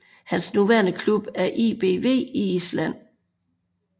Hans nuværende klub er ÍBV i Island